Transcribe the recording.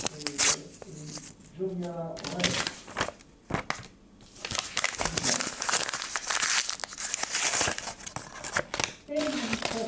Mr President, I rise to discuss the topic of integrated territorial investment.